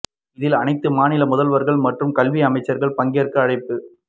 இதில் அனைத்து மாநில முதல்வர்கள் மற்றும் கல்வி அமைச்சர்கள் பங்கேற்க அழைப்பு